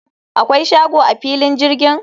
akwai shago a filin jirgin?